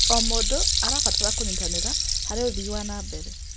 O mũndũ arabatara kũnyitanĩra harĩ ũthii wa na mbere.